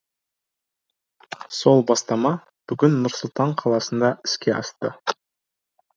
сол бастама бүгін нұр сұлтан қаласында іске асты